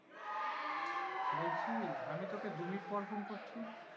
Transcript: বলছি আমি তোকে দু মিনিট পর ফোন করছি।